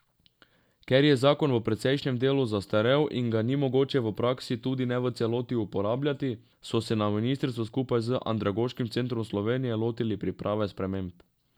Ker je zakon v precejšnjem delu zastarel in ga ni mogoče v praksi tudi ne v celoti uporabljati, so se na ministrstvu skupaj z Andragoškim centrom Slovenije lotili priprave sprememb.